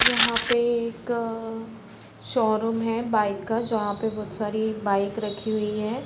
यहाँ पे एक अ शोरूम है बाइक का जहाँ पर बहुत सारी बाइक रखी हुई है।